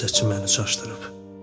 Gözəçi məni çaşdırıb.